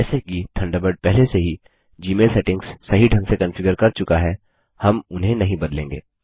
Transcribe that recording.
जैसे कि थंडरबर्ड पहले से ही जीमेल सेटिंग्स सही ढंग से कॉन्फ़िगर कर चुका है हम उन्हें नहीं बदलेंगे